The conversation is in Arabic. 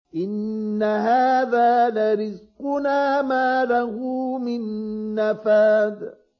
إِنَّ هَٰذَا لَرِزْقُنَا مَا لَهُ مِن نَّفَادٍ